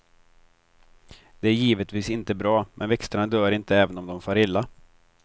Det är givetvis inte bra, men växterna dör inte även om de far illa.